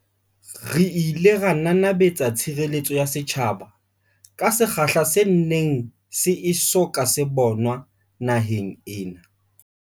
Re ile ra nanabetsa tshire letso ya setjhaba ka sekgahla se neng se e so ka se bonwa naheng ena.